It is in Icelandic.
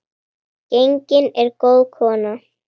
Gengin er góð kona.